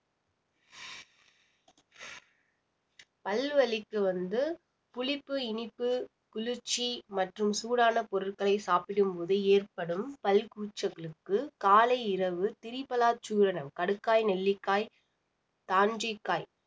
பல் வலிக்கு வந்து புளிப்பு, இனிப்பு, குளிர்ச்சி மற்றும் சூடான பொருட்களை சாப்பிடும் போது ஏற்படும் பல் கூச்சங்களுக்கு காலை இரவு திரிபலா சூரணம் கடுக்காய், நெல்லிக்காய், தான்றிக்காய்